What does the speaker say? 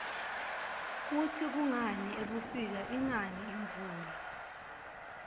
kutsi kungani ebusika ingani imvula